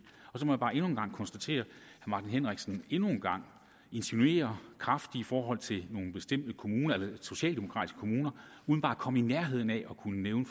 så må jeg bare endnu en gang konstatere at herre martin henriksen endnu en gang insinuerer kraftigt i forhold til nogle bestemte kommuner socialdemokratiske kommuner uden bare at komme i nærheden af at kunne nævne